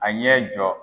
A ɲɛ jɔ